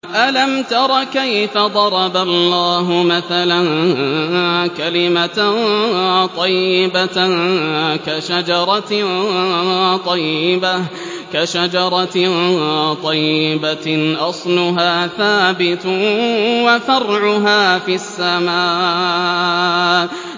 أَلَمْ تَرَ كَيْفَ ضَرَبَ اللَّهُ مَثَلًا كَلِمَةً طَيِّبَةً كَشَجَرَةٍ طَيِّبَةٍ أَصْلُهَا ثَابِتٌ وَفَرْعُهَا فِي السَّمَاءِ